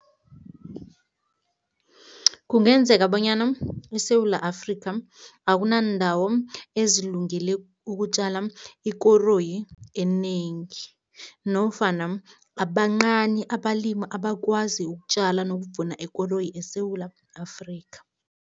Kungenzeka bonyana eSewula Afrika akunandawo ezilungele ukutjala ikoroyi enengi nofana bancani abalimi abakwazi ukutjala nokuvuna ikoroyi eSewula Afrika.